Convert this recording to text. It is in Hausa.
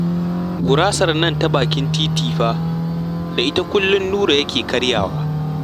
Gurasar nan ta baki titi fa da ita kullum Nura yake karyawa